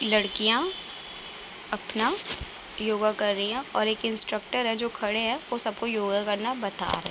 लड़कियां अपना योगा कर रही है और एक इन्सट्रकटर हैं जो खड़े है वो सबको योगा करना बता रहे हैं ।